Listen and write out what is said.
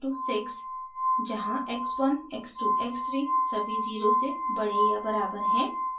जहाँ x 1 x 2 x 3 सभी zero से बड़े या बराबर हैं